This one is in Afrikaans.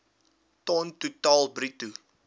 ton totaal bruto